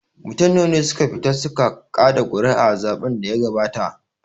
Mutum nawa ne suka fita su ka kaɗa ƙuri'a a zaɓen da ya gabata?